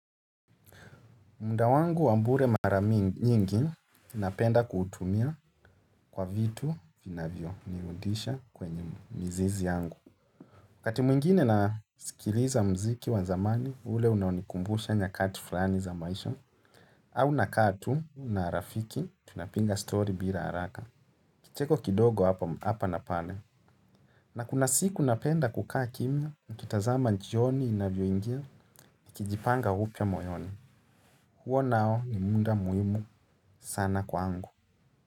Munda wangu wambure mara mi nyingi, ninapenda kutumia kwa vitu vinavyo riudisha kwenye mizizi yangu. Wakati mwingine na sikiliza mziki wazamani, ule unanikumbusha nyakati flani za maisha. Au naka tu, na rafiki, tunapinga story bila haraka. Kicheko kidogo hapa napale. Na kuna siku napenda kukaa kimia, nikitazama nchioni inavyo ingia, nikijipanga upya moyoni. Huo nao ni munda muimu sana kwangu.